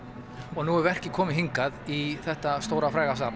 og nú er verkið komið hingað í þetta stóra fræga safn